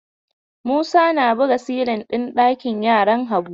Musa na buga silin ɗin ɗakin yaran Habu.